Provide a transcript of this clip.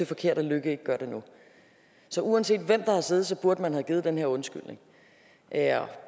forkert at løkke ikke gør det nu så uanset hvem der har siddet burde man have givet den her undskyldning det er